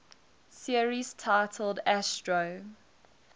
series titled astro